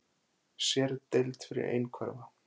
Sérdeild fyrir einhverfa